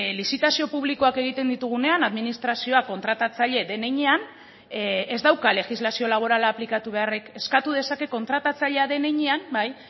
lizitazio publikoak egiten ditugunean administrazioa kontratatzaile den heinean ez dauka legislazio laborala aplikatu beharrik eskatu dezake kontratatzailea den heinean bai